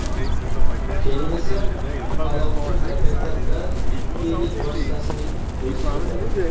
Keyin esa uqalovchi harakatlar bilan piling vositasining o‘zi suriladi.